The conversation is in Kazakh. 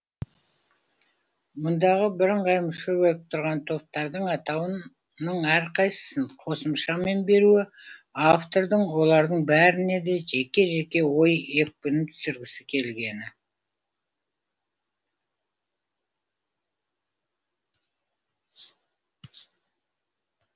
мұндағы бірыңғай мүше болып тұрған топтардың атауының әрқайсысын қосымшамен беруі автордың олардың бәріне де жеке жеке ой екпінін түсіргісі келгені